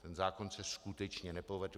Ten zákon se skutečně nepovedl.